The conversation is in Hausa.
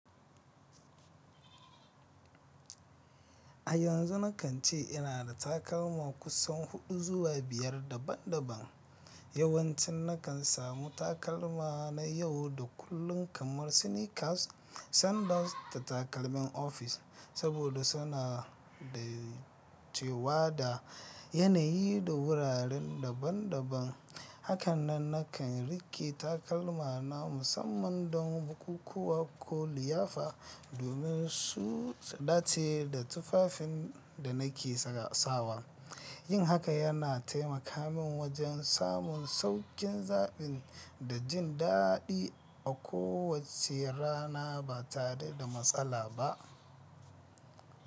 A yanzu nakan ce ina da takalma kusan huɗu zuwa biyar daban-daban. Yawan cin nakan samu takalma na yau da kullun kamar sneakers, sandals da takalman office saboda suna dacewa da yanayi da wuraren daban-daban. Hakanan nakan riƙe takalma na musamman don bukukuwa ko liyafa domin su dace da tufafin da nake sawa. Yin haka yana taimaka min wajen samun sauƙin zaɓi da jin daɗi a kowace rana ba tare da matsala ba.